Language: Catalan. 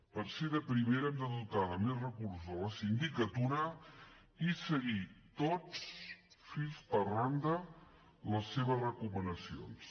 per ser de primera hem de dotar de més recursos a la sindicatura i seguir tots fil per randa les seves recomanacions